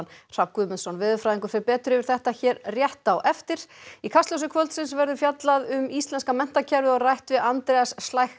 Hrafn Guðmundsson veðurfræðingur fer betur yfir þetta hér rétt á eftir í Kastljósi kvöldsins verður fjallað um íslenska menntakerfið og rætt við Andreas